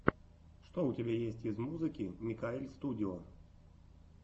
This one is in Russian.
что у тебя есть из музыки микаэльстудио